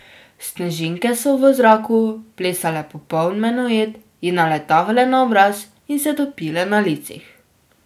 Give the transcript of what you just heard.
Snežinke so v zraku plesale popoln menuet, ji naletavale na obraz in se topile na licih.